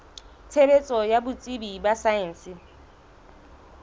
tshebetso ya botsebi ba saense